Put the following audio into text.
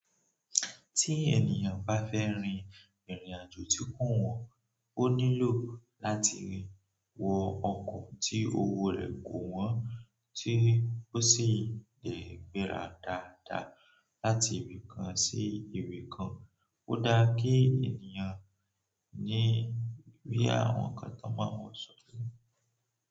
Tí ènìyàn bá fẹ́ rin ìrìnàjò tí kò wọ́n, ó nílò láti wọ ọkọ̀ tí owó rẹ̀ kò wọ́n, tí ó sì le gbéra dáadáa láti ibì kan sí ibì kan. Ó dáa kí ènìyàn rí boya àwọn ǹkan tan mọ́ n wọ sórí.